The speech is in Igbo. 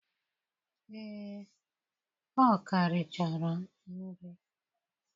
Ee, o ka richara nri.